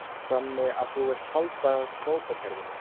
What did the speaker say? Þannig að þú vilt halda kvótakerfinu?